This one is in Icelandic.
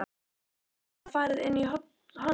Þið svona farið inn í hollum?